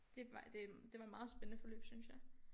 Det var det det var et meget spændende forløb synes jeg